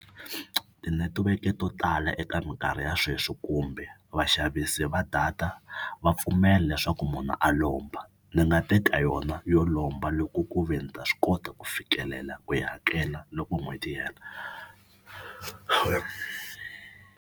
Tinetiweke to tala eka mikarhi ya sweswi kumbe vaxavisi va data va pfumela leswaku munhu a lomba. Ni nga teka yona yo lomba loko ku ve ni ta swi kota ku fikelela ku yi hakela loko n'hweti yi hela.